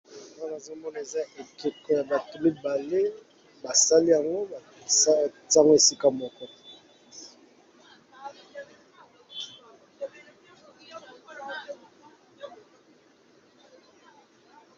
Awa nazo mona eza ekeko ya bato mibale, basali yango tie ngo esika moko.